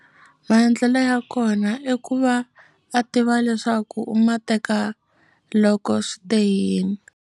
Maendlelo ya kona i ku va a tiva leswaku u ma teka loko swi te yini.